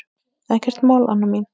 Ekkert mál, Anna mín.